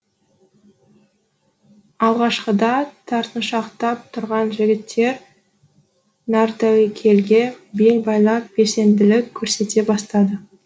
алғашқыда тартыншақтап тұрған жігіттер нартәуекелге бел байлап белсенділік көрсете бастады